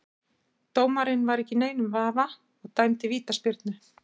Dómarinn var ekki í neinum vafa og dæmdi vítaspyrnu.